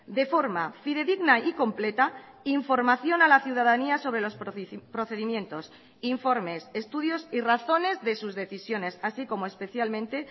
de forma fidedigna y completa información a la ciudadanía sobre los procedimientos informes estudios y razones de sus decisiones así como especialmente